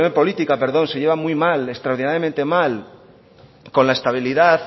política se lleva muy mal extraordinariamente mal con la estabilidad